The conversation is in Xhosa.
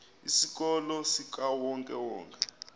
isikolo sikawonke wonke